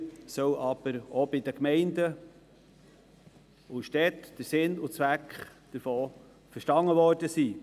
Von den meisten Gemeinden und Städten soll jedoch der Sinn und Zweck verstanden worden sein.